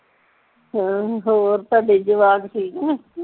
ਹਮ ਹੋਰ ਤੁਹਾਡੇ ਜਵਾਕ ਠੀਕ ਨੇ